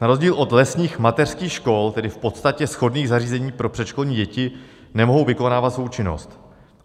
Na rozdíl od lesních mateřských škol, tedy v podstatě shodných zařízení pro předškolní děti, nemohou vykonávat svou činnost.